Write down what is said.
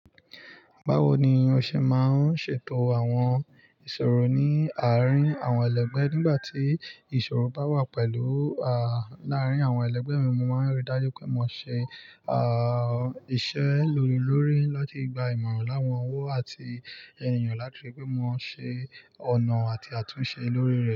Báwo ni yóò ṣe máa ń ṣètò àwọn ìṣòro ní àárín àwọn ẹlẹgbẹ́ nígbà tí ìṣòro bá wà pẹ̀lú à láàárín àwọn ẹlẹgbẹ́ mi, mo máa ń rí dájú pé mo ṣe à ìṣe lílo lórí láti gba ìmọ̀ràn láwọn owó àti ènìyàn láti rí pé mo ṣe ọ̀nà àti àtúnṣe lórí rẹ̀.